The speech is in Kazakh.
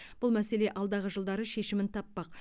бұл мәселе алдағы жылдары шешімін таппақ